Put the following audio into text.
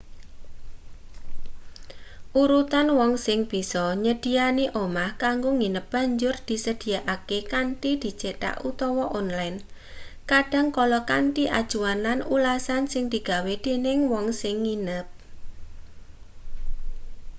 urutan wong sing bisa nyedhiyani omah kanggo nginep banjur disedhiyakake kanthi dicethak utawa onlen kadang kala kanthi acuan lan ulasan sing digawe dening wong sing nginep